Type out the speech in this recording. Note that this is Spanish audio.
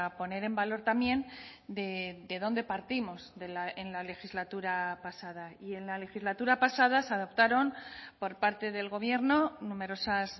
poner en valor también de dónde partimos en la legislatura pasada y en la legislatura pasada se adoptaron por parte del gobierno numerosas